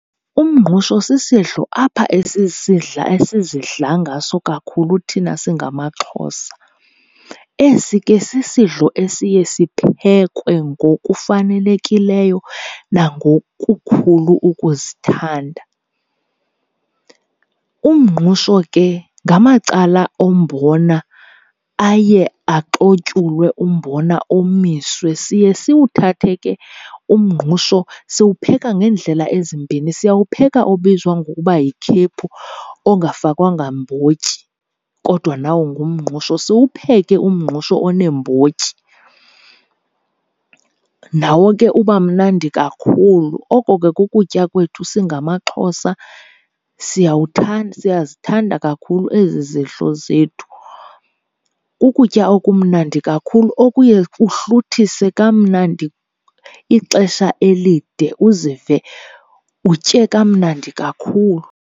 Umngqusho sisidlo apha esisidla esizidla ngaso kakhulu thina singamaXhosa. Esi ke sisidlo esiye siphekwe ngokufanelekileyo nangokukhulu ukuzithanda. Umngqusho ke ngamacala ombona aye axotyulwe umbona omiswe. Siye siwuthathe ke umngqusho, siwupheka ngendlela ezimbini. Siyawupheka obizwa ngokuba yikhephu, ongakafakwanga mbotyi, kodwa nawo ngumngqusho. Siwupheke umngqusho oneembotyi, nawo ke uba mnandi kakhulu. Oko ke kukutya kwethu singamaXhosa. Siyazithanda kakhulu ezi zidlo zethu. Kukutya okumnandi kakhulu okuye kuhluthise kamnandi ixesha elide, uzive utye kamnandi kakhulu.